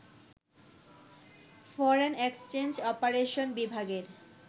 foreign exchange operation বিভাগের